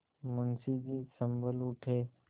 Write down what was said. मुंशी जी सँभल उठे